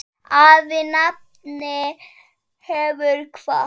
Afi nafni hefur kvatt.